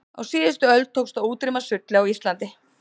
á síðustu öld tókst að útrýma sulli á íslandi